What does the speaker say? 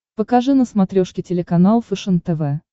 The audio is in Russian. покажи на смотрешке телеканал фэшен тв